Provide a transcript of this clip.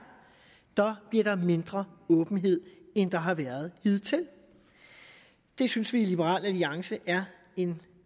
bliver der mindre åbenhed end der har været hidtil det synes vi i liberal alliance er en